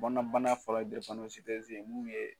Bɔnna bana fɔlɔ ye ye mun ye